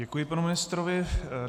Děkuji panu ministrovi.